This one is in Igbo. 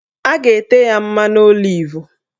A ga-ete ya mmanụ olivu